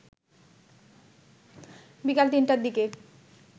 বিকাল ৩টার দিকে